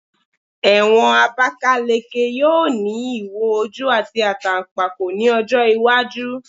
Ewon Abakaleke yoo ni iwo oju ati atanpako ni ojo iwaju